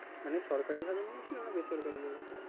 মানে সরকারিভাবে নিয়েছিলে না বেসরকারিভাবে?